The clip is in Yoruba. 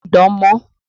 Má pidán mọ́!